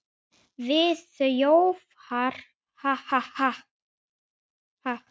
Við þjófar, ha, ha, ha.